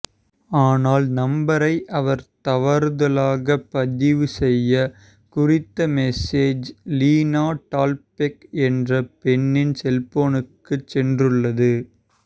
ஆனால் நம்பரை அவர் தவறுதலாக பதிவு செய்ய குறித்த மெசேஜ் லினா டால்பெக் என்ற பெண்ணின் செல்போனுக்கு சென்றுள்ளது